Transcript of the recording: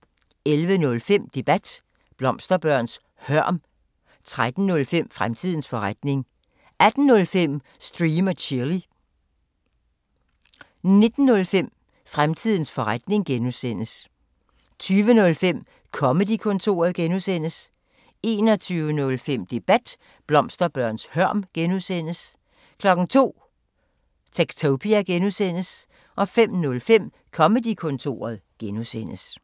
11:05: Debat: Blomsterbørns hørm 13:05: Fremtidens forretning 18:05: Stream & Chill 19:05: Fremtidens forretning (G) 20:05: Comedy-kontoret (G) 21:05: Debat: Blomsterbørns hørm (G) 02:00: Techtopia (G) 05:05: Comedy-kontoret (G)